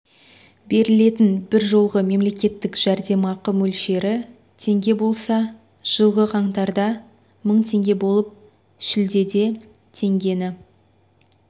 берілетін бір жолғы мемлекеттік жәрдемақы мөлшері теңге болса жылғы қаңтарда мың теңге болып шілдеде теңгені